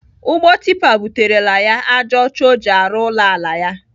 Ụgbọ tipa buterele ya ájá ọcha ọ ji arụ ụlọ ala ya.